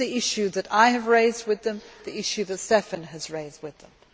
This is the issue that I have raised with them, the issue that Štefan has raised with them.